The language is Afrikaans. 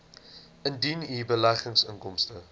indien u beleggingsinkomste